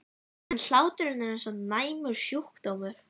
En hláturinn er eins og næmur sjúkdómur.